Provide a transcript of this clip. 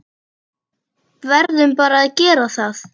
Verðum bara að gera það.